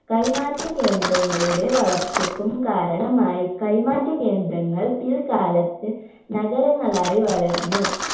കൈമാറ്റ കേന്ദ്രങ്ങളുടെ വളർച്ചയ്ക്കും കാരണമായി കൈമാറ്റ കേന്ദ്രങ്ങൾ പിൽ കാലത്ത് നഗരങ്ങളായി വളർന്നു